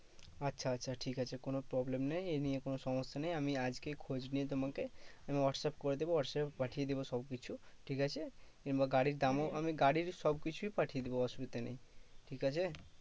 আচ্ছা আচ্ছা ঠিক আছে কোনো problem নেই এ নিয়ে কোনো সমস্যা নেই। আমি আজকেই খোঁজ নিয়ে তোমাকে তুমি হোয়াটস্যাপ করে দেবে হোয়াটস্যাপে পাঠিয়ে দেব সবকিছু। ঠিকাছে? কিংবা গাড়ির দামও আমি গাড়ির সবকিছুই পাঠিয়ে দেব অসুবিধা নেই, ঠিকাছে?